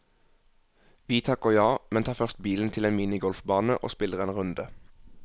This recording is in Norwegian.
Vi takker ja, men tar først bilen til en minigolfbane og spiller en runde.